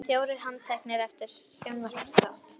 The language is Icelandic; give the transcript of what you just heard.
Fjórir handteknir eftir sjónvarpsþátt